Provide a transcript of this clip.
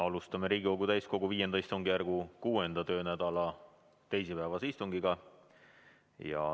Alustame Riigikogu täiskogu V istungjärgu 6. töönädala teisipäevast istungit.